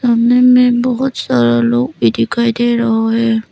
सामने में बहुत सारा लोग भी दिखाई दे रहा है।